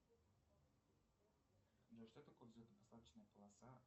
джой что такое взлетно посадочная полоса